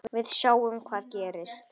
Við sjáum hvað gerist.